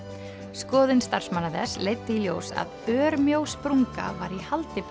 skoðun starfsmanna þess leiddi í ljós að örmjó sprunga var í haldi